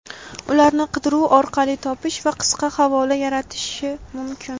ularni qidiruv orqali topish va qisqa havola yaratish mumkin.